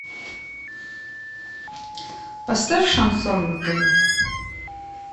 поставь шансон на тв